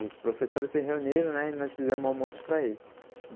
Os professores se reuniram né e nós fizemos almoço para ele.